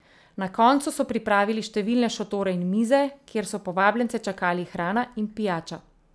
Na koncu so pripravili številne šotore in mize, kjer so povabljence čakali hrana in pijača.